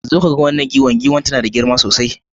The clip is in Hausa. Zo ka gan wanan giwan. giwan tana da girma sosai